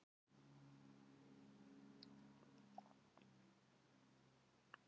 Heimasætan stendur á hlaðinu og horfir á eftir honum lengi.